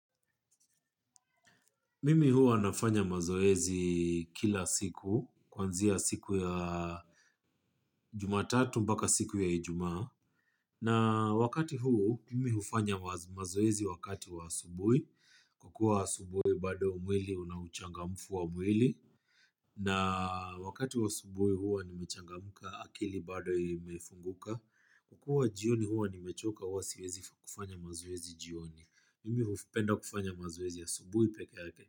Mimi huwa nafanya mazoezi kila siku, kwanzia siku ya jumatatu mpaka siku ya ijuma. Na wakati huu, mimi hufanya mazoezi wakati wa asubui. Kwa kua asubui bado mwili, unauchangamfu wa mwili. Na wakati wa asubui huwa, nimechangamuka akili bado imefunguka. Kukua jioni huwa, nimechoka huwa siwezi kufanya mazoezi jioni. Mimi hufupenda kufanya mazoezi ya asubui peke yake.